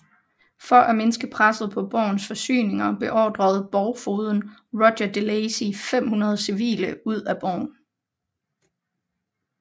For at mindske presset på borgens forsyninger beordrede borgfogeden Roger de Lacy 500 civile ud af borgen